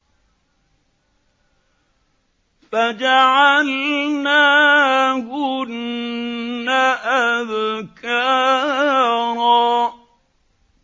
فَجَعَلْنَاهُنَّ أَبْكَارًا